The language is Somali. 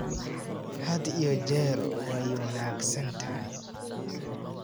Had iyo jeer way wanaagsan tahay.